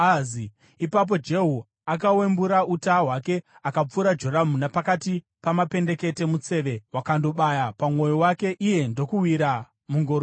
Ipapo Jehu akawembura uta hwake akapfura Joramu napakati pamapendekete. Museve wakandobaya pamwoyo wake iye ndokuwira mungoro yake.